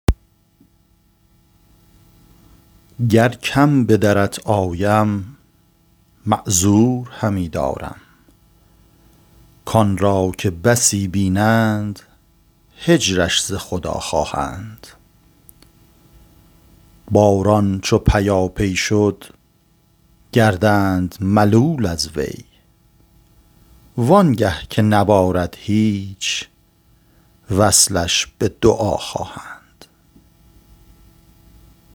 گر کم به درت آیم معذور همی دارم کان را که بسی بینند هجرش ز خدا خواهند باران چو پیاپی شد گردند ملول از وی وانگه که نبارد هیچ وصلش به دعا خواهند